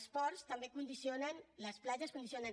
els ports també condicionen les platges condicionen